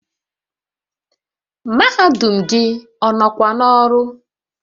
Mahadum gị ọ nọkwa n'ọrụ?